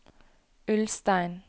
Ulstein